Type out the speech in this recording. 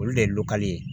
Olu de ye lokale ye